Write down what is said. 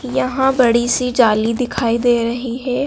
यहां बड़ीसी जाली दिखाई दे रही हैं।